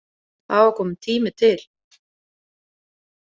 Það var kominn tími til.